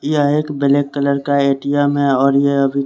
हाँ एक black colour का एटीएम है और ये अभी--